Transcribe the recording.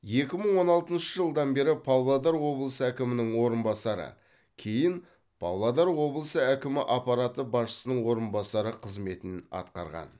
екі мың он алтыншы жылдан бері павлодар облысы әкімінің орынбасары кейін павлодар облысы әкімі аппараты басшысының орынбасары қызметін атқарған